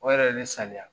O yɛrɛ ye ne sanuya